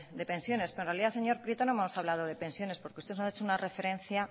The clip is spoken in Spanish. de pensiones pero en realidad señor prieto no hemos hablado de pensiones porque ustedes han hecho una referencia